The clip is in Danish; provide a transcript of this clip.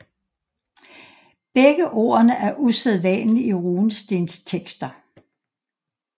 Begge ordene er usædvanlige i runestenstekster